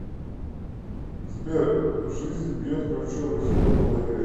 сбер жизнь бьет ключом и все по голове